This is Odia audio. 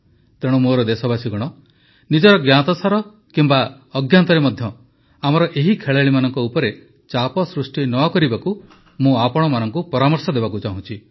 ତେଣୁ ମୋର ଦେଶବାସୀଗଣ ନିଜର ଜ୍ଞାତସାର କିମ୍ବା ଅଜ୍ଞାତରେ ମଧ୍ୟ ଆମର ଏହି ଖେଳାଳିମାନଙ୍କ ଉପରେ ଚାପ ସୃଷ୍ଟି ନ କରିବାକୁ ମୁଁ ଆପଣମାନଙ୍କୁ ପରାମର୍ଶ ଦେବାକୁ ଚାହୁଁଛି